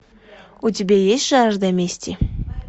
у тебя есть жажда мести